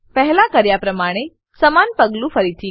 પહેલા કર્યા પ્રમાણે સમાન પગલું ફરીથી કરો